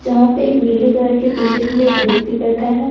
जहां पे एक नीले कलर के टी शर्ट में एक व्यक्ति बैठा है।